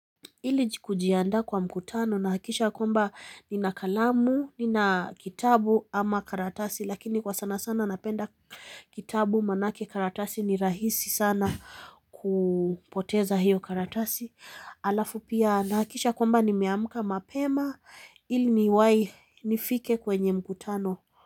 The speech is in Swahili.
Ili kujianda kwa mkutano nahakikisha kwamba nina kalamu, nina kitabu ama karatasi lakini kwa sana sana napenda kitabu manake karatasi ni rahisi sana kupoteza hiyo karatasi. Alafu pia nahakikisha kwamba nimeamka mapema ili niwai nifike kwenye mkutano.